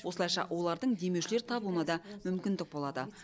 осылайша олардың демеушілер табуына да мүмкіндік болады